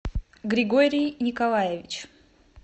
григорий николаевич